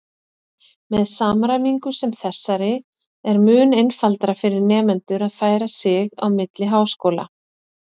Með samræmingu sem þessari er mun einfaldara fyrir nemendur að færa sig á milli háskóla.